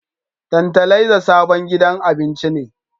Tantalaiza sabon gidan abincin ne